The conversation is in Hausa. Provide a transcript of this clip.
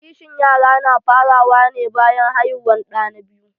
Kishin yara na fara wa ne bayan haihuwan ɗa na biyu